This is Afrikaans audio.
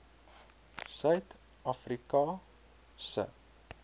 suid afrika se